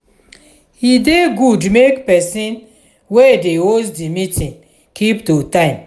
e dey good make person wey dey host di meeting keep to time